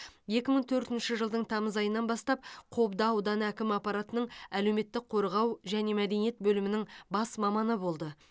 екі мың төртінші жылдың тамыз айынан бастап қобда ауданы әкімі аппаратының әлеуметтік қорғау және мәдениет бөлімінің бас маманы болды